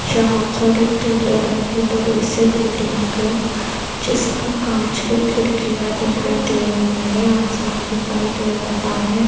यहाँ पर एक पीले रंग की बड़ी सी बिल्डिंग है जिसको कांच की खिड़कियां दिखाई दे रही है आसमान दिखाई दे रहा है।